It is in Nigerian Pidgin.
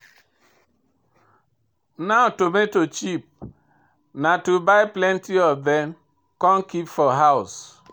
Now tomato cheap, na to buy plenty of dem come keep for house.